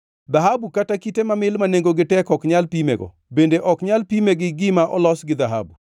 Dhahabu kata kite mamil ma nengogi tek ok nyal pimego bende ok nyal pime gi gima olos gi dhahabu.